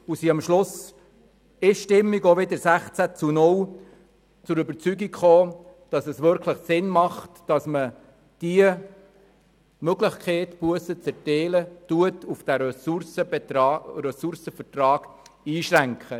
Am Schluss sind wir wiederum einstimmig mit 16 zu 0 Stimmen zur Überzeugung gelangt, dass es wirklich Sinn macht, die Möglichkeit, Bussen zu erteilen, auf diesen Ressourcenvertrag einzuschränken.